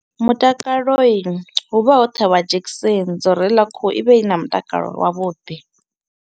Mutakaloi hu vha ho ṱhavha dzhekiseni dzo ri heḽa khuhu i vhe i na mutakalo wavhuḓi.